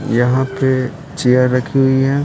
यहां पे चेयर रखी हुई है।